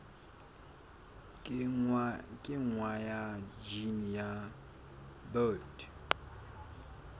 kenngwa ha jine ya bt